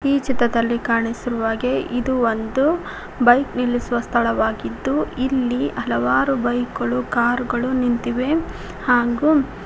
ಈ ಚಿತ್ರದಲ್ಲಿ ಕಾಣಿಸಿರುವ ಹಾಗೆ ಇದು ಒಂದು ಬೈಕ್ ನಿಲ್ಲಿಸುವ ಸ್ಥಳವಾಗಿದ್ದು ಇಲ್ಲಿ ಹಲವಾರು ಬೈಕ್ ಗಳು ಕಾರ್ ಗಳು ನಿಂತಿವೆ ಹಾಂಗೂ --